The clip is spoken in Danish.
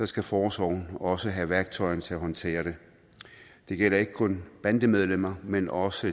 skal forsorgen også have værktøjerne til at håndtere det det gælder ikke kun bandemedlemmer men også